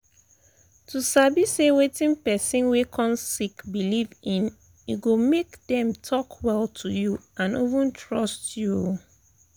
to sabi say wetin person wey um sick believe in e go make them talk well to you and even trust you. um